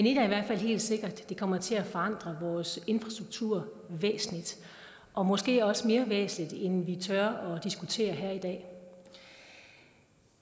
i hvert fald helt sikkert det kommer til at forandre vores infrastruktur væsentligt og måske også mere væsentligt end vi tør diskutere her i dag